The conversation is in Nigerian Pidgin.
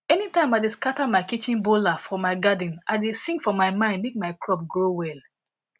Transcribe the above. anytime i dey scatter my kitchen bowla for my garden i dey sing for my mind make my crop grow well